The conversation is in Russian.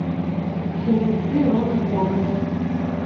фильмецы рона ховарда